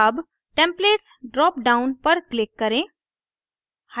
अब templates dropdown पर click करें